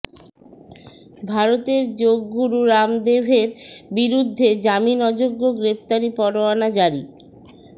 ভারতের যোগগুরু রামদেভের বিরুদ্ধে জামিন অযোগ্য গ্রেফতারি পারোয়ানা জারি